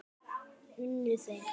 Unnu þeir?